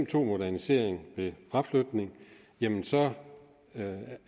to modernisering ved fraflytning jamen så